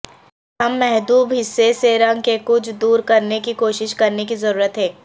ہم محدب حصے سے رنگ کے کچھ دور کرنے کی کوشش کرنے کی ضرورت ہے